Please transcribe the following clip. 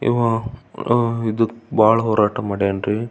ಇವಾ ಅಹ್ ಇದು ಬಹಳ್ ಹೋರಾಟ ಮಾಡೆನ್ ರಿ.